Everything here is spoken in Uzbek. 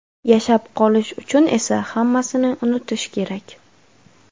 Yashab qolish uchun esa hammasini unutish kerak.